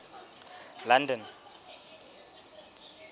london